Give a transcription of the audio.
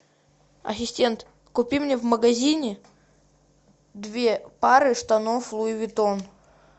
ассистент купи мне в магазине две пары штанов луи уиттон